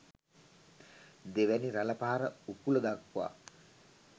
දෙවැනි රළ පහර උකුල දක්වා